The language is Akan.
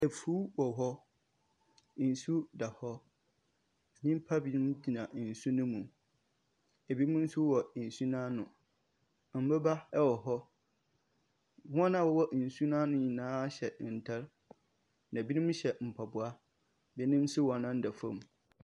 Afuo wɔ hɔ nsuo da hɔ nipa bi nom gyina nsuo no mu ebi mu nso wɔ nsuo no ano nnboɔba nso wɔ hɔ wɔn a ɔwɔ nsuo no ano nyinaa hyɛ ntaada ebi nom hyɛ mpaboa ebi nso nan da fom.